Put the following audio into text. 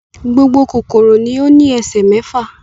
Gbogbo kòkòrò ni ó ní ẹsẹ̀ mẹ́fà.